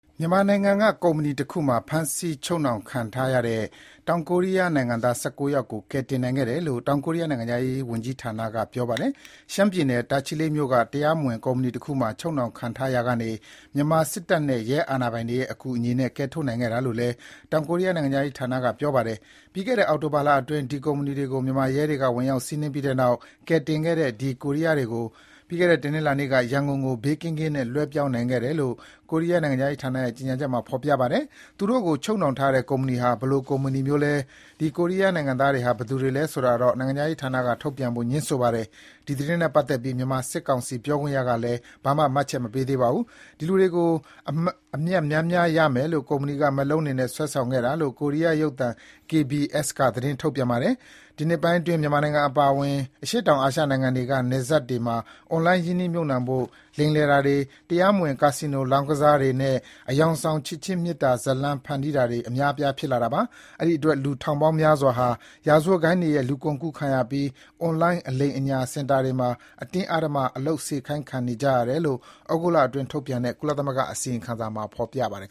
မြန်မာနိုင်ငံက ကုမ္ပဏီတခုမှာ ဖမ်းဆီးချုပ်နှောင်ခံထားရတဲ့ တောင်ကိုးရီးယား နိုင်ငံသား ၁၉ ယောက်ကို ကယ်တင်နိုင်ခဲ့တယ်လို့ တောင်ကိုးရီးယား နိုင်ငံခြားရေးဝန်ကြီးဌာနက ပြောပါတယ်။ ရှမ်းပြည်နယ် တာချီလိတ်မြို့က တရားမဝင် ကုမ္ပဏီတခုမှာ ချုပ်နှောင်ခံနေရတာကနေ မြန်မာစစ်တပ်နဲ့ ရဲအာဏာပိုင်တွေရဲ့ အကူအညီနဲ့ ကယ်ထုတ်နိုင်ခဲ့တာလို့လည်း တောင်ကိုးရီးယား နိုင်ငံခြားရေးဝန်ကြီးဌာနက ပြောပါတယ်။ ပြီးခဲ့တဲ့ အောက်တိုဘာလအတွင်း ဒီကုမ္ပဏီကို မြန်မာရဲတွေက ဝင်ရောက်စီးနင်းပြီးတဲ့နောက် ကယ်တင်ခဲ့တဲ့ ဒီကိုးရီးယားတွေကို ပြီးခဲ့တဲ့ တနင်္လာနေ့က ရန်ကုန်ကို ဘေးကင်းကင်းနဲ့ လွှဲပြောင်းနိုင်ခဲ့တယ်လို့ တောင်ကိုးရီးယားနိုင်ငံခြားရေးဝန်ကြီးဌာနရဲ့ ကြေညာချက်ထဲမှာ ထုတ်ပြန်ပါတယ်။ ဒီ ချုပ်နှောင်ထားတဲ့ ကုမ္ပဏီဟာ ဘယ်လို ကုမ္ပဏီမျိုးလဲ၊ ဒီကိုးရီးယားတွေက ဘယ်သူတွေလဲဆိုတာတော့ နိုင်ငံခြားရေးဝန်ကြီးဌာနက ထုတ်ပြန်ဖို့ ငြင်းဆိုပါတယ်။ ဒီသတင်းနဲ့ ပတ်သက်ပြီး မြန်မာစစ်ကောင်စီပြောခွင့်ရကလည်း ဘာမှတ်ချက်မှ မပေးသေးပါဘူး။ ဒီလူတွေကို အမြတ်များများရမယ်လို့ ကုမ္ပဏီက မက်လုံးတွေနဲ့ စွဲဆောင်ခဲ့တာလို့ ကိုးရီးယား ရုပ်သံ KBS က သတင်းထုတ်ပြန်ပါတယ်။ ဒီနှစ်ပိုင်းတွေအတွင်း မြန်မာနိုင်ငံအပါအဝင် အရှေ့တောင် အာရှနိုင်ငံတွေက နယ်စပ်မြို့တွေမှာ အွန်လိုင်း ရင်းနှီးမြှုပ်နှံဖို့ လိမ်လည်တာတွေ၊ တရားမဝင် ကာစီနိုလောင်းကစားတွေနဲ့ အယောင်ဆောင် ချစ်ခြင်းမေတ္တာဇာတ်လမ်းဖန်တီးတာတွေ အများအပြားဖြစ်လာတာပါ။ အဲ့ဒီအတွက် လူထောင်ပေါင်းများစွာဟာ ရာဇဝတ်ဂိုဏ်းတွေရဲ့ လူကုန်ကူးခံရပြီး အွန်လိုင်း အလိမ်အညာ စင်တာတွေမှာ အတင်းအဓမ္မ အလုပ်စေခိုင်းတာခံနေရတယ်လို့ သြဂုတ်လအတွင်း ထုတ်ပြန်တဲ့ ကုလသမဂ္ဂအစီရင်ခံစာမှာ ဖော်ပြထားပါတယ်